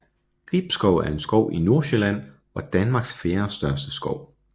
Gribskov er en skov i Nordsjælland og Danmarks fjerdestørste skov